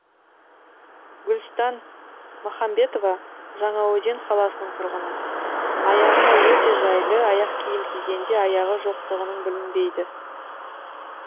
гүлстан махамбетова жаңаөзен қаласының тұрғыны аяғына өте жайлы аяқ киім кигенде аяғы жоқтығың білінбейді